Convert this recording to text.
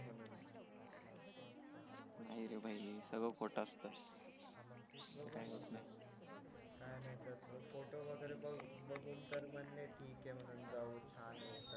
नाही रे भाई सगळं खोत असत तस काही होत नाही काय नाय तर फोटो वगैरे बघून तर म्हणले ठीके म्हणून जाऊ छान हे